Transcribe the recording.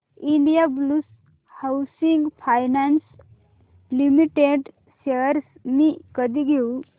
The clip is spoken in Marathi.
Indiabulls housing finance limited shares मी कधी घेऊ